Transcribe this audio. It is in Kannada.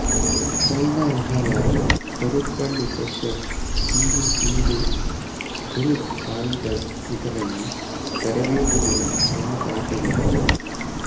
ಸೈನಾ ನೆಹವಾಲ್ ಪರುಪಳ್ಳಿ ಕಶ್ಯಪ್ ಪಿ ವಿ ಸಿಂಧು ಗುರು ಸಾಯಿದತ್ ಇದರಲ್ಲಿ ತರಬೇತುಗೊಂಡ ಪ್ರಮುಖ ಆಟಗಾರರು